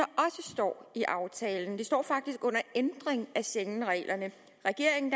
står i aftalen det står faktisk under ændring af schengenreglerne regeringen